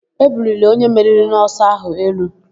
E buliri onye meriri n'ọsọ áhụ̀ elu.